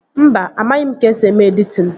Mba, amaghị m ka-esi eme editin